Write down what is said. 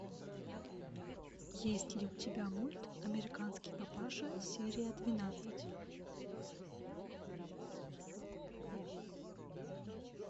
есть ли у тебя мульт американский папаша серия двенадцать